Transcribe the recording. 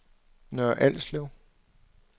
Nørre Alslev